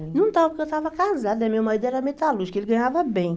Não estava, porque eu estava casada, meu marido era metalúrgico, ele ganhava bem.